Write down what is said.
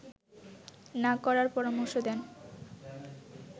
না করার পরামর্শ দেন